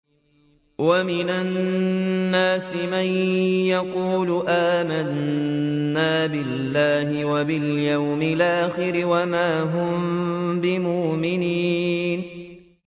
وَمِنَ النَّاسِ مَن يَقُولُ آمَنَّا بِاللَّهِ وَبِالْيَوْمِ الْآخِرِ وَمَا هُم بِمُؤْمِنِينَ